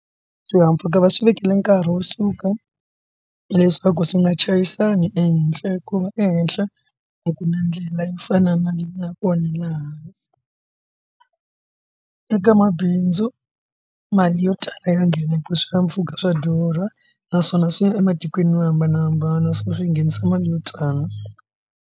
Swihahampfhuka va swi vekela nkarhi wo suka leswaku swi nga chayisana ehenhla ku nga ehenhla a ku na ndlela yo fana na na kona la hansi eka mabindzu mali yo tala yo nghena eka swihahampfhuka swa durha naswona swi ya ematikweni yo hambanahambana so swi nghenisa mali yo tala.